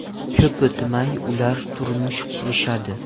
Ko‘p o‘tmay, ular turmush qurishadi.